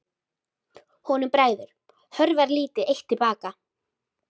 Honum bregður, hörfar lítið eitt til baka.